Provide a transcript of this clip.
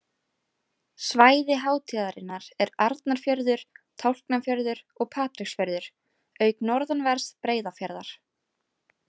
Svæði hátíðarinnar er Arnarfjörður, Tálknafjörður og Patreksfjörður auk norðanverðs Breiðafjarðar.